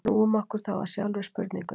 Snúum okkur þá að sjálfri spurningunni.